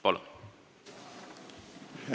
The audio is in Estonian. Palun!